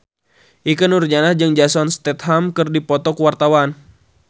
Ikke Nurjanah jeung Jason Statham keur dipoto ku wartawan